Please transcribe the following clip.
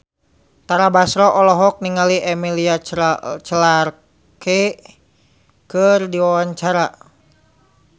Tara Basro olohok ningali Emilia Clarke keur diwawancara